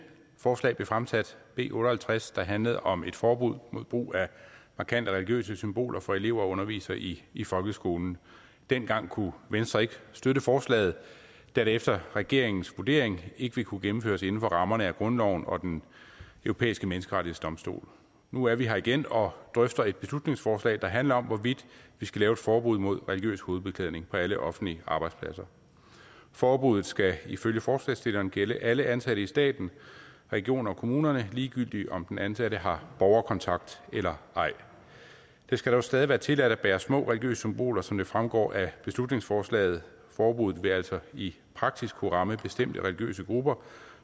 forslag blev fremsat b otte og halvtreds der handlede om et forbud mod brug af markante religiøse symboler for elever og undervisere i i folkeskolen dengang kunne venstre ikke støtte forslaget da det efter regeringens vurdering ikke ville kunne gennemføres inden for rammerne af grundloven og den europæiske menneskerettighedsdomstol nu er vi her igen og drøfter et beslutningsforslag der handler om hvorvidt vi skal lave et forbud mod religiøs hovedbeklædning på alle offentlige arbejdspladser forbruget skal ifølge forslagsstillerne gælde alle ansatte i staten regioner og kommunerne ligegyldigt om den ansatte har borgerkontakt eller ej det skal dog stadig være tilladt at bære små religiøse symboler som det fremgår af beslutningsforslaget forbuddet vil altså i praksis skulle ramme bestemte religiøse grupper